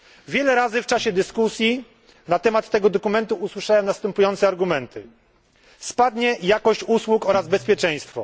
Wiele razy w czasie dyskusji na temat tego dokumentu słyszałem następujące argumenty spadnie jakość usług oraz bezpieczeństwo.